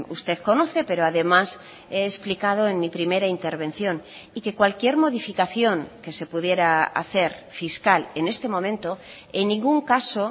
usted conoce pero además he explicado en mi primera intervención y que cualquier modificación que se pudiera hacer fiscal en este momento en ningún caso